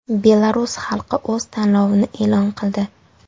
Belarus xalqi o‘z tanlovini qildi.